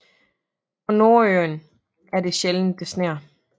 På Nordøen er det sjældent det sner